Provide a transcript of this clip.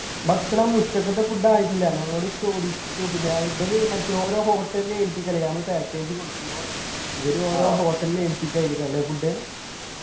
ഭക്ഷണം ഉച്ചക്കത്തെ food ആയിട്ടില്ല ഞങ്ങളോട് ചോദിച്ചു പിന്നെ ഇബല് മറ്റേ ഓരോ hotel ൽ ഏൽപ്പിക്കലാ നമ്മളെ package കൊടുക്കുമ്പോ ഇവര് ഓരോ hotel ൽ ഏൽപ്പിക്കായിരിക്കും അല്ലെ food